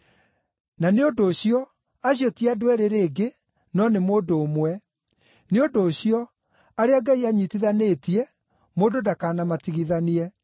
Na nĩ ũndũ ũcio, acio ti andũ eerĩ rĩngĩ, no nĩ mũndũ ũmwe. Nĩ ũndũ ũcio, arĩa Ngai anyiitithanĩtie, mũndũ ndakanamatigithanie.”